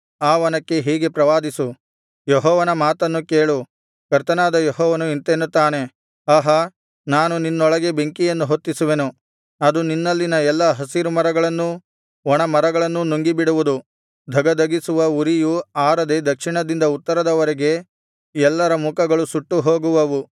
ಆ ವನಕ್ಕೆ ಹೀಗೆ ಪ್ರವಾದಿಸು ಯೆಹೋವನ ಮಾತನ್ನು ಕೇಳು ಕರ್ತನಾದ ಯೆಹೋವನು ಇಂತೆನ್ನುತ್ತಾನೆ ಆಹಾ ನಾನು ನಿನ್ನೊಳಗೆ ಬೆಂಕಿಯನ್ನು ಹೊತ್ತಿಸುವೆನು ಅದು ನಿನ್ನಲ್ಲಿನ ಎಲ್ಲಾ ಹಸಿರು ಮರಗಳನ್ನೂ ಒಣಮರಗಳನ್ನೂ ನುಂಗಿ ಬಿಡುವುದು ಧಗಧಗಿಸುವ ಉರಿಯು ಆರದೆ ದಕ್ಷಿಣದಿಂದ ಉತ್ತರದವರೆಗೆ ಎಲ್ಲರ ಮುಖಗಳು ಸುಟ್ಟು ಹೋಗುವವು